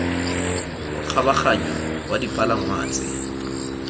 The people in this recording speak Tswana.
wa kgabaganyo wa dipalangwa tse